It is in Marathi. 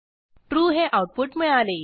trueहे आऊटपुट मिळाले